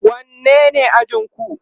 wanne ne ajinku?